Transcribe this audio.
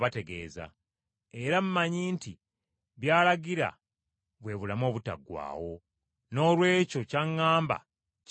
Era mmanyi nti by’alagira bwe bulamu obutaggwaawo. Noolwekyo ky’aŋŋamba kye mbategeeza.”